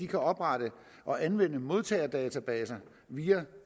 kan oprette og anvende modtagerdatabaser via